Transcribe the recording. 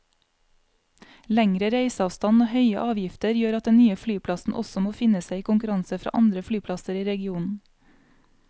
Lengre reiseavstand og høye avgifter gjør at den nye flyplassen også må finne seg i konkurranse fra andre flyplasser i regionen.